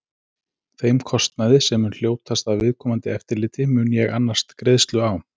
Þeim kostnaði, sem mun hljótast af viðkomandi eftirliti, mun ég annast greiðslu á.